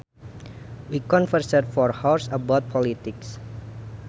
We conversed for hours about politics